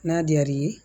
N'a diyar'i ye